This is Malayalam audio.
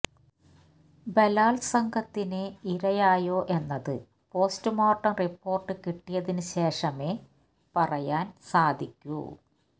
ബലാത്സംഗത്തിന് ഇരയായോ എന്നത് പോസ്റ്റ്മോര്ട്ടം റിപ്പോര്ട്ട് കിട്ടിയതിന് ശേഷമെ പറയാന് സാധിക്കൂ